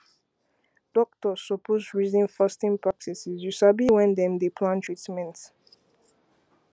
doctors suppose reason fasting practice you sabi when dem dey plan treatment